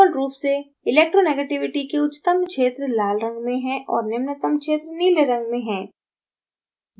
default रूप से electronegativity के उच्चतम क्षेत्र लाल रंग में और निम्नतम क्षेत्र नीले में हैं